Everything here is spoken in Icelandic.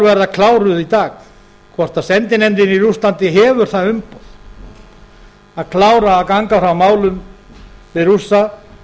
verða kláruð í dag hvort sendinefndin í rússlandi hefur það umboð að klára að ganga frá málum við rússa